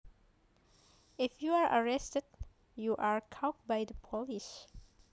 If you are arrested you are caught by the police